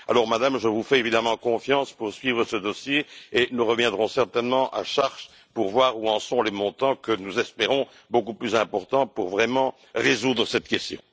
Madame, je vous fais évidemment confiance pour suivre ce dossier et nous reviendrons certainement à charge pour voir où en sont les montants, que nous espérons beaucoup plus importants, pour vraiment résoudre cette question.